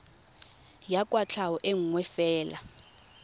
ya kwatlhao e nngwe fela